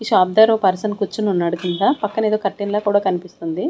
ఈ షాప్ దగ్గర ఓ పర్సన్ కూర్చొని ఉన్నాడు కింద పక్కన ఏదో కర్టెన్ లా కూడా కనిపిస్తుంది.